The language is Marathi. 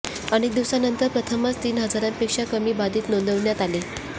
अनेक दिवसांनंतर प्रथमच तीन हजारांपेक्षा कमी बाधित नोंदवण्यात आले